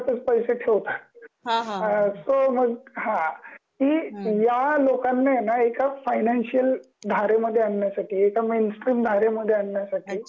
ते स्वतःचा घरातच पैसे ठेवतात. सो मग हा कि या लोकांना आहे ना एका फायनान्शियल धारे मध्ये आणण्यासाठी एका मेन स्ट्रीम धारे मध्ये आणण्यासाठी कि